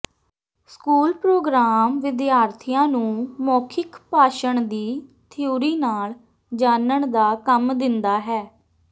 school programme ਵਿਦਿਆਰਥੀਆਂ ਨੂੰ ਮੌਖਿਕ ਭਾਸ਼ਣ ਦੀ ਥਿਊਰੀ ਨਾਲ ਜਾਣਨ ਦਾ ਕੰਮ ਦਿੰਦਾ ਹੈ